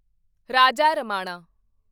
Raja Ramanna